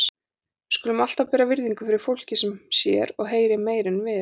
Við skulum alltaf bera virðingu fyrir fólki sem sér og heyrir meira en við.